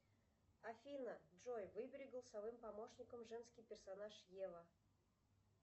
афина джой выбери голосовым помощником женский персонаж ева